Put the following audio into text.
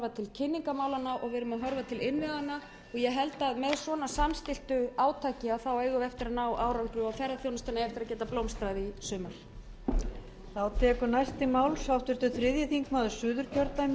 að horfa til innviðanna og ég held að með svona samstilltu átaki eigum við eftir að ná árangri og ferðaþjónustan eigi eftir að geta blómstrað í sumar